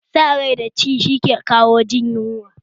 A sa zuciya ta ci shi ya kawo jin yunwa